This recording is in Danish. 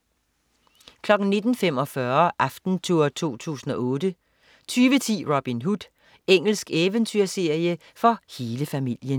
19.45 Aftentour 2008 20.10 Robin Hood. Engelsk eventyrserie for hele familien